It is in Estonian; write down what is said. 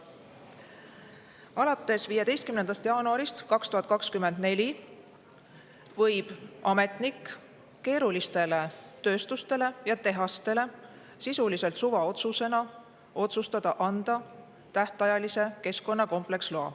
Alates 15. jaanuarist 2024 võib ametnik keerulistele tööstustele ja tehastele sisuliselt suvaotsusega anda tähtajalise keskkonnakompleksloa.